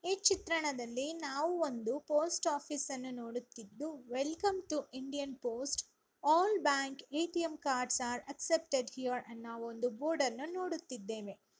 ಈ ಚಿತ್ರಣದಲ್ಲಿ ನಾವು ಒಂದು ಪೋಸ್ಟ್‌ ಆಫೀಸ್‌ನನ್ನು ನೋಡುತ್ತಿದ್ದು welcome to Indian post all bank ATM cards are accepted here ಅನ್ನೋ ಒಂದು ಬೋರ್ಡ್‌ನ್ನ ನೋಡುತ್ತಿದ್ದೇವೆ.